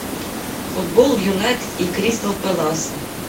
футбол юнайтед и кристал пэласа